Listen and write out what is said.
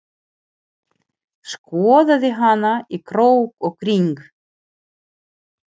Skoðaði hana í krók og kring.